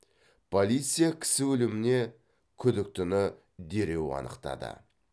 полиция кісі өліміне күдіктіні дереу анықтады